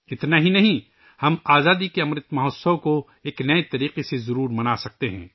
اتنا ہی نہیں، ہم آزادی کے امرت مہوتسو کو یقینی طور پر ایک نئے انداز میں منا سکتے ہیں